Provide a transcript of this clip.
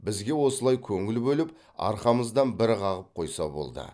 бізге осылай көңіл бөліп арқамыздан бір қағып қойса болды